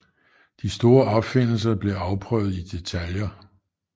De store opfindelser blev afprøvet i detaljer